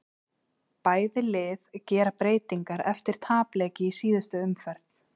Bæði lið gera breytingar eftir tapleiki í síðustu umferð.